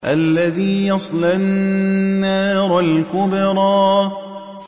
الَّذِي يَصْلَى النَّارَ الْكُبْرَىٰ